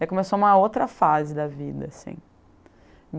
Daí começou uma outra fase da vida, assim.